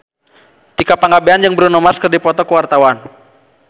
Tika Pangabean jeung Bruno Mars keur dipoto ku wartawan